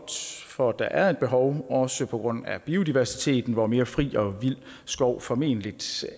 for der er et behov også på grund af biodiversiteten hvor mere fri og vild skov formentlig